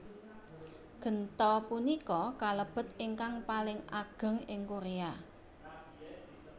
Genta punika kalebet ingkang paling ageng ing Korea